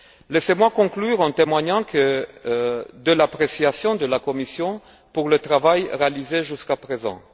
Laissez moi conclure en témoignant de l'appréciation de la Commission pour le travail réalisé jusqu'à présent.